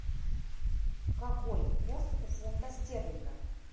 какой курс у фунта стерлинга